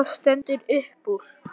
En hvað stendur uppúr?